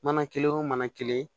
Mana kelen o mana kelen